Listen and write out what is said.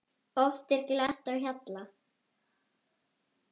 Oft er glatt á hjalla.